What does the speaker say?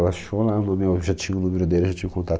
Ela achou lá o nome, eu já tinha o número dele, já tinha o contato.